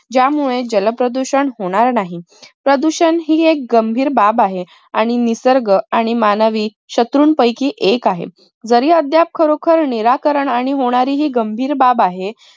ज्यामुळे जल प्रदूषण होणार नाही. प्रदूषण ही एक गंभीर बाब आहे आणि निसर्ग आणि मानवी शत्रूंपैकी एक आहे. जरी अद्याप खरोखर निराकरण आणि होणारी ही गंभीर बाब आहे.